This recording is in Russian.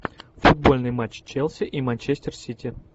футбольный матч челси и манчестер сити